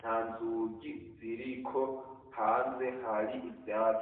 nta nzugi ziriko, hanze hari ivyatsi.